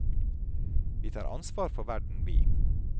Vi tar ansvar for verden vi.